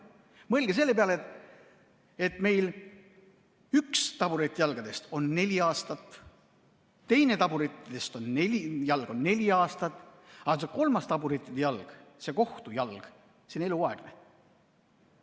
Mõelge selle peale, et meil üks taburetijalgadest kestab neli aastat, teine taburetijalg neli aastat, aga kolmas taburetijalg, see kohtujalg, on eluaegne.